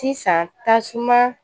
Sisan tasuma